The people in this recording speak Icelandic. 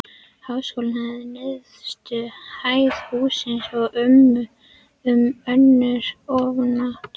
Háskólinn hafði neðstu hæð hússins og um önnur afnot